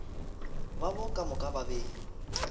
babo ka moka ba be